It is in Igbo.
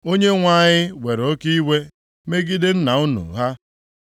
“ Onyenwe anyị were oke iwe megide nna unu ha.